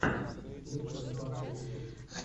аниме фасту ютуб